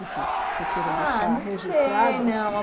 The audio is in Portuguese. Enfim, que você queira deixar registrada... Ah, não sei, não.